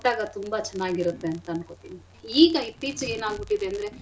ಕೊಟ್ಟಾಗ ತುಂಬಾ ಚೆನ್ನಾಗಿರತ್ತೆ ಅಂತ ಅನ್ಕೊತಿನಿ ಈಗ ಇತ್ತೀಚಿಗೆ ಏನಾಗ್ಬಿಟಿದೆಂದ್ರೆ.